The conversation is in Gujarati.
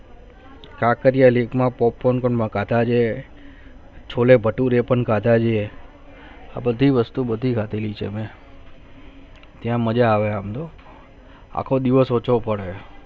કાંકરિયા lake માં popcorn ખાતા છે છોલે બચ પણ ખાતા જે અને ટી વસ્તુ બધું ખાતા છે એને ત્યાં મજા આવે હમનું આખો દિવસ આછો હમને